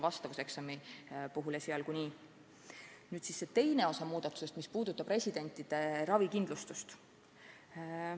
Nüüd teine osa muudatustest, mis puudutavad residentide ravikindlustust.